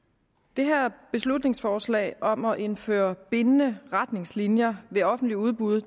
det her beslutningsforslag om at indføre bindende retningslinjer ved offentligt udbud